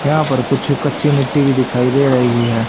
यहां पर कुछ कच्ची मिट्टी भी दिखाई दे रही है।